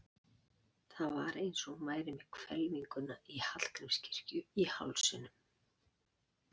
Það var eins og hún væri með hvelfinguna í Hallgrímskirkju í hálsinum.